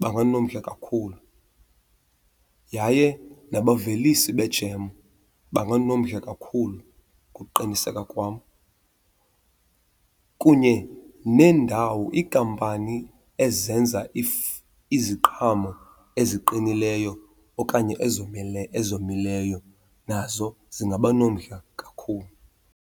banganomdla kakhulu. Yaye nabavelisi bejem banganomdla kakhulu ukuqiniseka kwam. Kunye neendawo, iikampani ezenza iziqhamo eziqinileyo okanye ezomileyo nazo zingaba nomdla kakhulu.